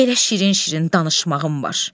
Elə şirin-şirin danışmağım var.